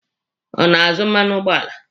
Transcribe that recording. Ọ na-azụ mmanụ ụgbọala.